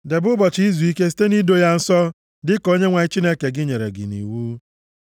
Debe ụbọchị izuike site nʼido ya nsọ, dịka Onyenwe anyị Chineke gị nyere gị nʼiwu.